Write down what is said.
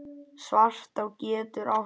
Svartá getur átt við